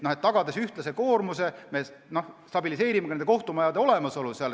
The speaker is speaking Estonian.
Tagades ühtlase koormuse, me stabiliseerime ka nende kohtumajade olemasolu.